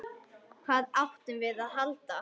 Hvað áttum við að halda?